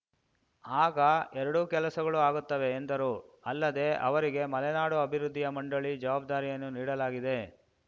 ಆಗ ಎರಡೂ ಕೆಲಸಗಳು ಆಗುತ್ತವೆ ಎಂದರು ಅಲ್ಲದೇ ಅವರಿಗೆ ಮಲೆನಾಡು ಅಭಿವೃದ್ಧಿಯ ಮಂಡಳಿ ಜವಾಬ್ದಾರಿಯನ್ನೂ ನೀಡಲಾಗಿದೆ